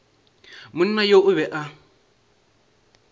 monna yo o be a